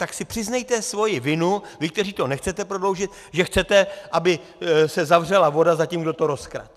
Tak si přiznejte svoji vinu, vy, kteří to nechcete prodloužit, že chcete, aby se zavřela voda za tím, kdo to rozkradl.